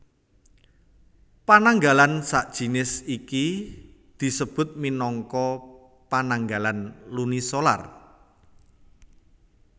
Pananggalan sajinis iki disebut minangka pananggalan lunisolar